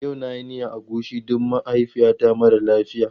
Yau na yi miyar agushi don mahaifiyata mara lafiya.